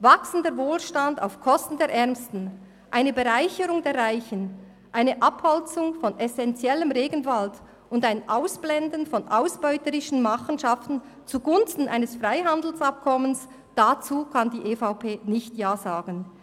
Wachsender Wohlstand auf Kosten der Ärmsten, eine Bereicherung der Reichen, eine Abholzung von essenziellem Regenwald und ein Ausblenden von ausbeuterischen Machenschaften zugunsten eines Freihandelsabkommens: Dazu kann die EVP nicht Ja sagen.